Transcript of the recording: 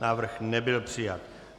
Návrh nebyl přijat.